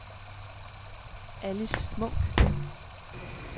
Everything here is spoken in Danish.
Alice Munch